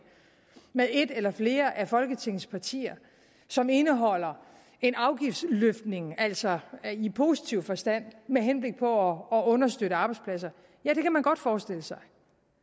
med et eller flere af folketingets partier som indeholder en afgiftsløftning altså i positiv forstand med henblik på at understøtte arbejdspladser ja det kan man godt forestille sig